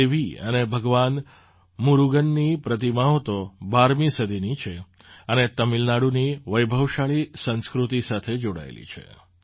દેવી અને ભગવાન મુર્ગનની પ્રતિમાઓ તો ૧૨મી સદીની છે અને તમિલનાડુની વૈભવશાળી સંસ્કૃતિ સાથે જોડાયેલી છે